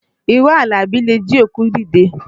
Irọ́ Àlàbí le jí òkú dìde